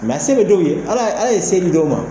se bɛ dɔw ye Ala Ala ye se di dɔw ma